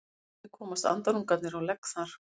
Hvernig komast andarungarnir á legg þar?